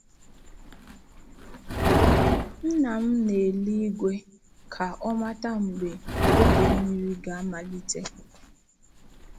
Nna m na-ele igwe ka o mata mgbe oge mmiri ga-amalite.